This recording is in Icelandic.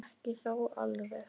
Ekki þó alveg.